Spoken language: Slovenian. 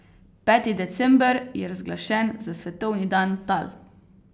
Peti december je razglašen za svetovni dan tal.